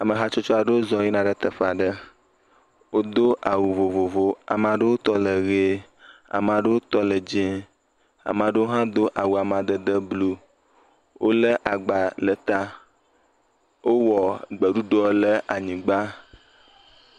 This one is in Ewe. Ame hatsotso aɖewo zɔ yina ɖe teƒe aɖe. Wodo awu vovovowo. Amea ɖewo tɔ le ʋe, Amea ɖewo tɔ le dzee, Amea ɖewo hã do awu amadede blu. Wolé agba ɖe ta, wowɔ gbeɖuɖɔ le anyigba.